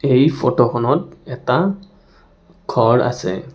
এই ফোট খনত এটা ঘৰ আছে.